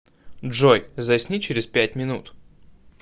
джой засни через пять минут